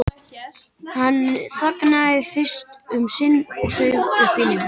Hann þagði fyrst um sinn og saug upp í nefið.